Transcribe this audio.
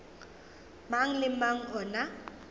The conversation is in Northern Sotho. mang le mang o na